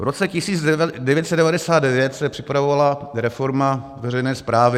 V roce 1999 se připravovala reforma veřejné správy.